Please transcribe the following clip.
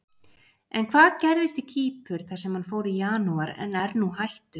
En hvað gerðist í Kýpur þar sem hann fór í janúar en er nú hættur?